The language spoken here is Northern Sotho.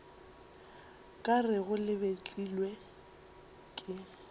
ka rego le betlilwe ke